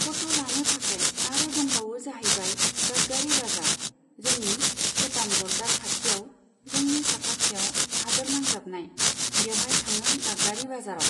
फट' लानो थाखाय आरो दंबावो जाहैबाय दागगारि बाजार। जोंनि भुटान बर्दार खाथिआव जोंनि साखाथियाव हादोर नांजाबनाय, बेवहाय थाङो दागगारि बाजाराव।